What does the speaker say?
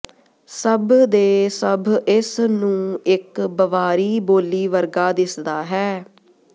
ਸਭ ਦੇ ਸਭ ਇਸ ਨੂੰ ਇੱਕ ਬਵਾਰੀ ਬੋਲੀ ਵਰਗਾ ਦਿਸਦਾ ਹੈ